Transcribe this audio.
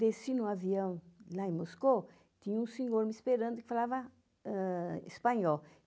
Desci no avião lá em Moscou, tinha um senhor me esperando que falava ãh espanhol.